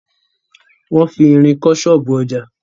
Wọn fi irin kọ́ ṣọ́ọ̀bú ọjà.